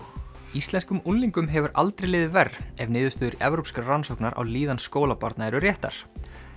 íslenskum unglingum hefur aldrei liðið verr ef niðurstöður evrópskrar rannsóknar á líðan skólabarna eru réttar